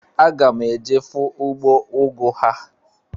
Aga m eje fụ ugbo ugu ha.